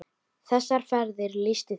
Þessar ferðir lýstu þér vel.